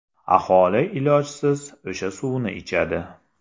Aholi ilojsiz o‘sha suvni ichadi.